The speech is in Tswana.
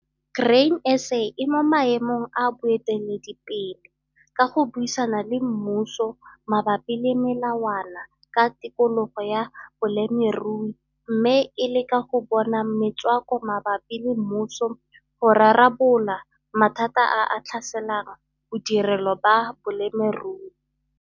Grain SA e mo maemong a boeteledipele ka go buisana le mmuso mabapi le melawana ka tikologo ya bolemirui mme e leka go bona metswako mabapi le mmuso go rarabolola mathata a a tlhaselang bodirelo ba bolemirui.